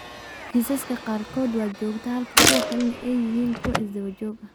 Kiisaska qaarkood waa joogto halka kuwa kalena ay yihiin kuwo isdaba joog ah.